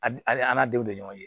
Ali an' denw de ɲɔgɔn ye